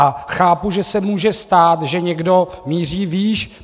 A chápu, že se může stát, že někdo míří výš.